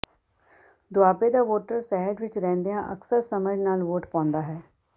ਦੁਆਬੇ ਦਾ ਵੋਟਰ ਸਹਿਜ ਵਿੱਚ ਰਹਿੰਦਿਆਂ ਅਕਸਰ ਸਮਝ ਨਾਲ ਵੋਟ ਪਾਉਂਦਾ ਹੈ